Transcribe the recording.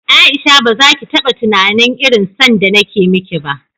Aisha bazaki taba tunanin irin son da nake miki ba